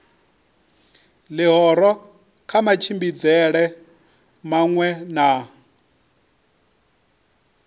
ḽihoro kha matshimbidzelwe maṅwe na